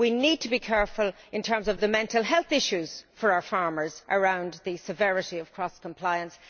We need to be careful in terms of the mental health issues for our farmers around the severity of cross compliance.